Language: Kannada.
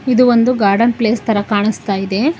ಇದು ಒಂದು ಗಾರ್ಡನ್ ಪ್ಲೇಸ್ ತರ ಕಾಣಿಸ್ತಾ ಇದೆ.